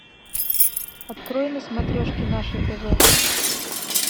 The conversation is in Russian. открой на смотрешке наше тв